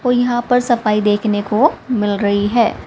ओर यहां पे सफाई देखने को मिल रही है।